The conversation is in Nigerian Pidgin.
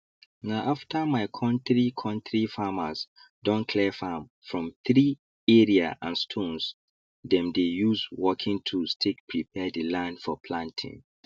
na after my kontri kontri farmers don clear farm from tree area and stones dem dey use working tools take prepare the land for planting